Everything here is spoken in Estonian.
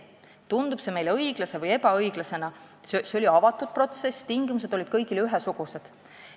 Kas see tundub meile õiglase või ebaõiglasena, aga see oli avatud protsess: tingimused olid kõigile ühesugused.